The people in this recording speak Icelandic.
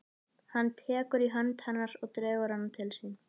Hann tekur í hönd hennar og dregur hana til sín.